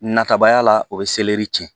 Natabaya la o bɛ seleri tiɲɛ